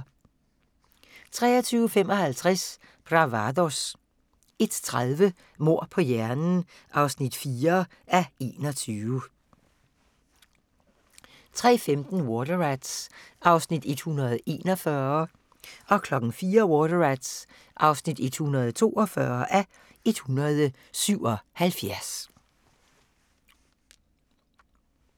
23:55: Bravados 01:30: Mord på hjernen (4:21) 03:15: Water Rats (141:177) 04:00: Water Rats (142:177)